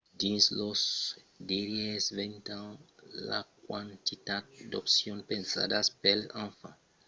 dins los darrièrs 20 ans la quantitat d'opcions pensadas pels enfants dins uptown charlotte a crescut exponencialament